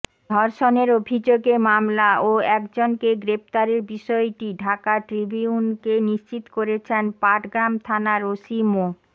ধর্ষণের অভিযোগে মামলা ও একজনকে গ্রেফতারের বিষয়টি ঢাকা ট্রিবিউনকে নিশ্চিত করেছেন পাটগ্রাম থানার ওসি মো